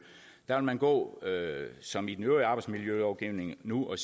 der vil man gå som i den øvrige arbejdsmiljølovgivning nu